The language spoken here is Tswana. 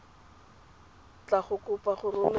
tla go kopa go romela